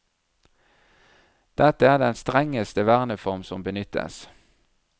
Dette er den strengeste verneform som benyttes.